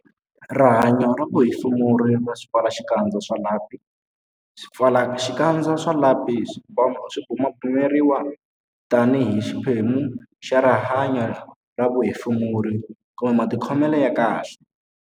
Rihanyo ra vuhefemuri ra swipfalaxikandza swa lapi Swipfalaxikandza swa lapi swi bumabumeriwa tanihi xiphemu xa rihanyo ra vuhefemuri kumbe matikhomelo ya kahle.